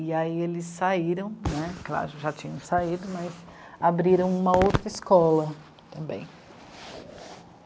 E aí eles saíram, né, claro, já tinham saído, mas abriram uma outra escola também.